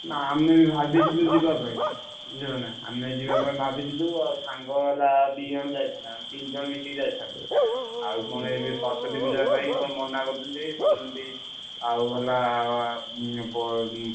ନା ଆମେ ବି ଭାବିଥିଲୁ ଯିବା ପାଇଁ ବୁଝିଲନା ଆମେ ଯିବା ପାଇଁ ଭାବିଥିଲୁ ଆଉ ସାଙ୍ଗ ହେଲା ଦି ଜଣ ଯାଇଥାନ୍ତେ। ଆମେ ତିନିଜଣ ମିଶିକି ଯାଇଥାନ୍ତୁ। ଆଉ ପୁଣି ଏବେ ସରସ୍ବତୀ ପୂଜା ପାଇଁ କଣ ମନାକରୁଛନ୍ତି କହୁଛନ୍ତି ଆଉ ହେଲା ଉଁ ପ ଉଁ।